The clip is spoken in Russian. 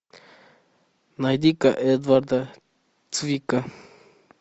найди ка эдварда цвика